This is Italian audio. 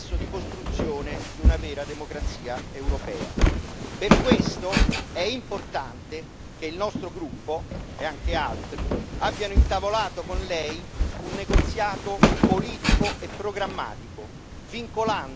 Per questo è importante che il nostro gruppo e anche altri abbiano intavolato con Lei un negoziato politico e programmatico, vincolando il nostro sostegno a degli impegni precisi.